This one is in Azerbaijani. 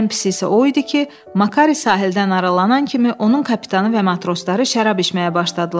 Ən pisi isə o idi ki, Makari sahildən aralanan kimi onun kapitanı və matrosları şərab içməyə başladılar.